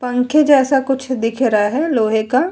पंखे जैसा कुछ दिख रहा है लोहे का।